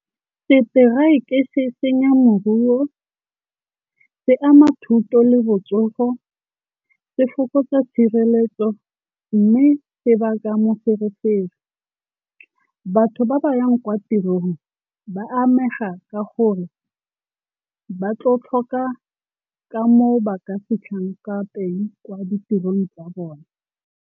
Seteraeke se senya moruo, se ama thuto le botsogo, se fokotsa tshireletso mme se baka moferefere. Batho ba ba yang kwa tirong ba amega ka gore ba tlo tlhoka ka moo ba ka fitlhang ka teng kwa ditirong tsa bone.